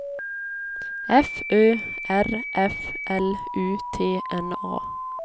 F Ö R F L U T N A